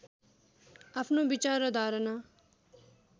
आफ्नो विचार र धारणा